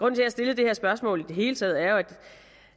at jeg stiller det her spørgsmål i hele taget er